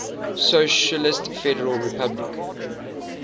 socialist federal republic